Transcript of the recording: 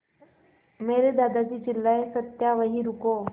मेरे दादाजी चिल्लाए सत्या वहीं रुको